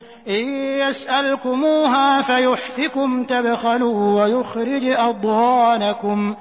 إِن يَسْأَلْكُمُوهَا فَيُحْفِكُمْ تَبْخَلُوا وَيُخْرِجْ أَضْغَانَكُمْ